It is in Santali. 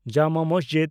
ᱡᱟᱢᱟ ᱢᱟᱥᱡᱤᱰ